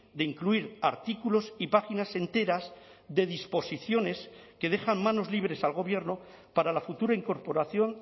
de incluir artículos y páginas enteras de disposiciones que dejan manos libres al gobierno para la futura incorporación